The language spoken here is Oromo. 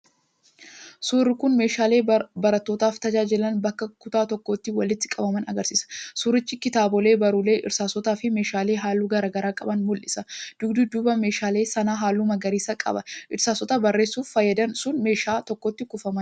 Suurri kun meeshaalee barnootaaf tajaajilan bakka tokkotti walitti qabaman agarsiisa. Suurichi kitaabolee, barruulee, irsaasota fi meeshaalee halluu garagaraa qaban mul'isa. Dugdi duuba meeshaalee sanaa halluu magariisa qaba. Irsaasotni barreessuuf fayyedan sun meeshaa tokkotti kuufamaniiru.